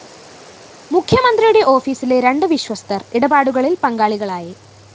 മുഖ്യമന്ത്രിയുടെ ഓഫീസിലെ രണ്ട് വിശ്വസ്തര്‍ ഇടപാടുകളില്‍ പങ്കാളികളായി